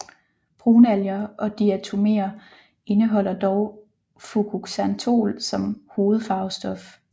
Brunalger og diatoméer indeholder dog fukoxantol som hovedfarvestof